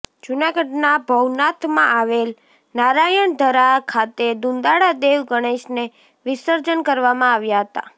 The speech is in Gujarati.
જૂનાગઢના ભવનાથમાં આવેલ નારાયણધરા ખાતે દુંદાળા દેવ ગણેશને વિસર્જન કરવામાં આવ્યા હતા